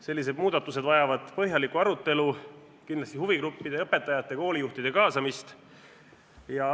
Sellised muudatused vajavad põhjalikku arutelu, kindlasti huvigruppide ja õpetajate, koolijuhtide kaasamist.